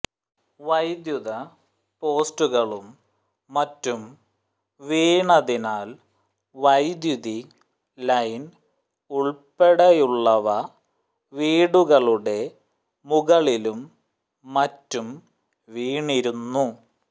വൈദ്യുത പോസ്റ്റുകളും മറ്റും വീണതിനാൽ വൈദ്യുതി ലൈൻ ഉൾപ്പെടെയുള്ളവ വീടുകളുടെ മുകളിലും മറ്റും വീണിരുന്നു